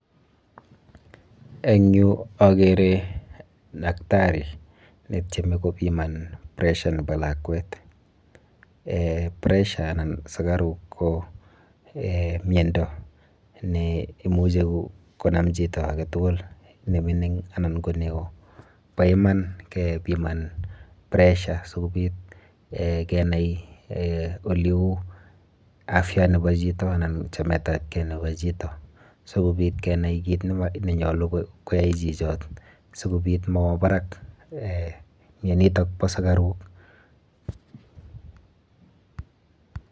Eng yu akere daktari netyeme kopiman pressure nepo lakwet eh pressure anan sukaruk ko eh miendo neimuchi konam chito aketukul, nemining anan ko neo. Bo iman kepiman pressure sikobit eh kenai eh oleu afya nepo chito anan chametapkei nepo chito. Sikobit kenai kit nenyolu koyoe chichot sikobit mowo barak eh mienitok bo sukaruk.